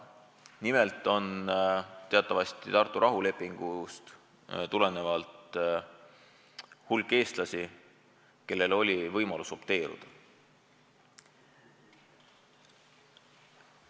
Nimelt on teatavasti Tartu rahulepingust tulenevalt hulk eestlasi, kellel oli võimalus opteeruda.